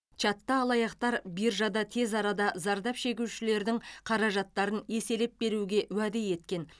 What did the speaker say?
чатта алаяқтар биржада тез арада зардап шегушілердің қаражаттарын еселеп беруге уәде еткен